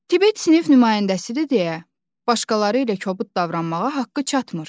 Tibet sinif nümayəndəsidir deyə başqaları ilə kobud davranmağa haqqı çatmır.